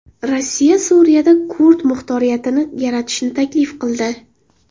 Rossiya Suriyada kurd muxtoriyatini yaratishni taklif qildi.